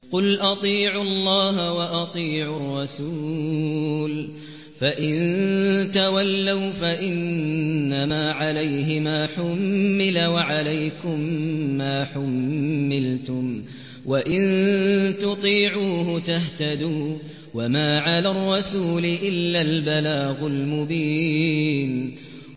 قُلْ أَطِيعُوا اللَّهَ وَأَطِيعُوا الرَّسُولَ ۖ فَإِن تَوَلَّوْا فَإِنَّمَا عَلَيْهِ مَا حُمِّلَ وَعَلَيْكُم مَّا حُمِّلْتُمْ ۖ وَإِن تُطِيعُوهُ تَهْتَدُوا ۚ وَمَا عَلَى الرَّسُولِ إِلَّا الْبَلَاغُ الْمُبِينُ